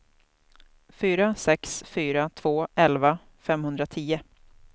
fyra sex fyra två elva femhundratio